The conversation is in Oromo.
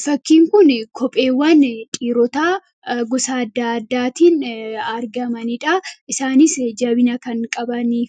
Fakkiin kun kopheewwan dhiirotaa gosa adda addaatiin argamanidha. Isaanis jabina kan qabanii